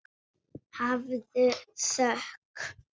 Hafðu þökk.